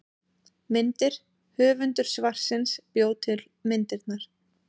Myndir: Höfundur svarsins bjó til myndirnar.